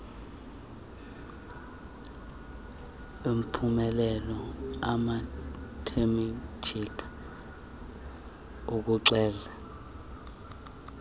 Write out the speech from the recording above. abaphumelela imathematika ukuxela